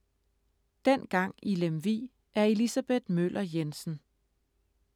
Dengang i Lemvig af Elisabeth Møller Jensen